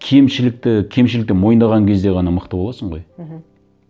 кемшілікті кемшілікті мойындаған кезде ғана мықты боласың ғой мхм